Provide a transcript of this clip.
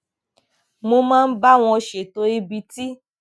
mo máa ń bá wọn ṣètò ibi tí